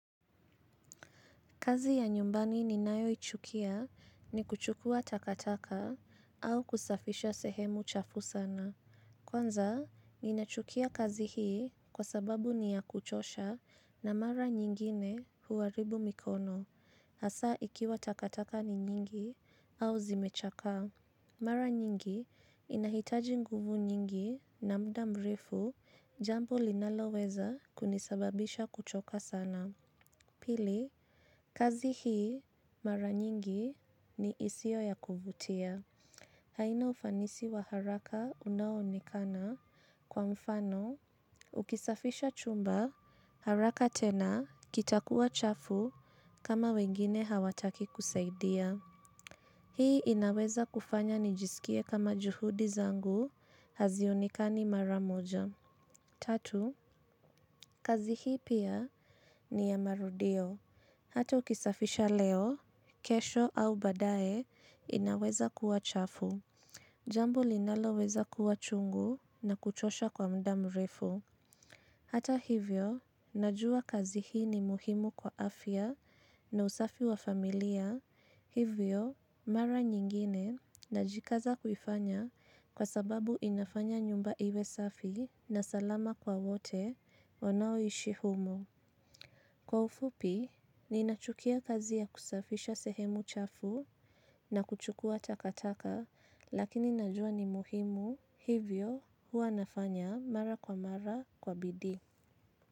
Kazi ya nyumbani ninayoichukia ni kuchukua takataka au kusafisha sehemu chafu sana. Kwanza, ninachukia kazi hii kwa sababu ni ya kuchosha na mara nyingine huharibu mikono. Hasa ikiwa takataka ni nyingi au zimechakaa. Mara nyingi inahitaji nguvu nyingi na muda mrefu jambo linaloweza kunisababisha kuchoka sana. Pili, kazi hii mara nyingi ni isio ya kuvutia. Haina ufanisi wa haraka unaonekana kwa mfano ukisafisha chumba haraka tena kitakuwa chafu kama wengine hawataki kusaidia. Hii inaweza kufanya nijisikie kama juhudi zangu hazionekani mara moja. Tatu, kazi hii pia ni ya marudio. Hata ukisafisha leo, kesho au baadae inaweza kuwa chafu, jambo linaloweza kuwa chungu na kuchosha kwa muda mrefu. Hata hivyo, najua kazi hii ni muhimu kwa afya na usafi wa familia, hivyo mara nyingine najikaza kuifanya kwa sababu inafanya nyumba iwe safi na salama kwa wote wanaoishi humo. Kwa ufupi, ninachukia kazi ya kusafisha sehemu chafu na kuchukua takataka, lakini najua ni muhimu hivyo huwa nafanya mara kwa mara kwa bidii.